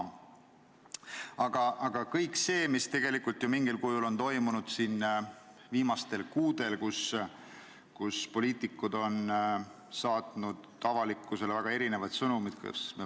Kuid vaatame kõike seda, mis mingil kujul on siin viimastel kuudel toimunud, kui poliitikud on saatnud avalikkusele väga erinevaid sõnumeid.